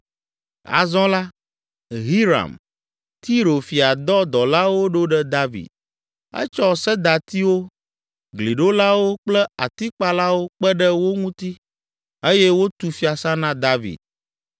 Azɔ la, Hiram, Tiro fia dɔ dɔlawo ɖo ɖe David. Etsɔ sedatiwo, gliɖolawo kple atikpalawo kpe ɖe wo ŋuti eye wotu fiasã na David.